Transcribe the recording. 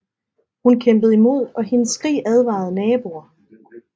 Hun kæmpede imod og hendes skrig advarede naboer